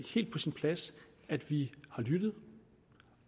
helt på sin plads at vi har lyttet